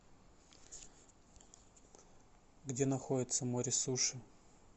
где находится море суши